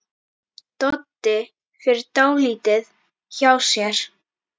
Doddi fer dálítið hjá sér.